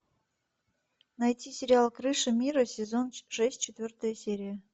найти сериал крыша мира сезон шесть четвертая серия